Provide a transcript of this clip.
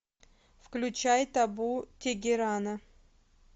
включай табу тегерана